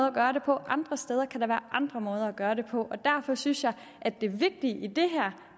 at gøre det på andre steder kan der andre måder at gøre det på derfor synes jeg at det vigtige i